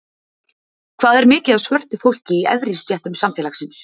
Hvað er mikið af svörtu fólki í efri stéttum samfélagsins?